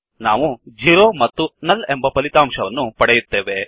ನಾವು ಜೆರೊ ಮತ್ತು ನುಲ್ ಎಂಬ ಫಲಿತವನ್ನು ಪಡೆಯುತ್ತೇವೆ